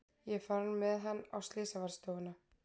Ég er farin með hann á slysavarðstofuna.